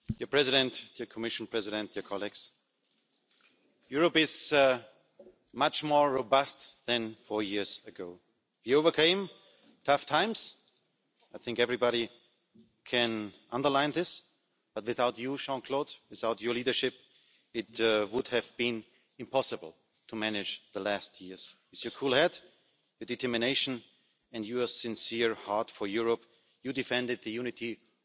and criminals. Their data exchange is key for Europe and I also want to underline that the Schengen area brings more and not less security. That's why we ask the Council to take further steps to include Bulgaria and Croatia inside the Schengen area. They have waited